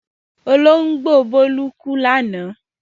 Olóńgbò Bólú kú lánàá?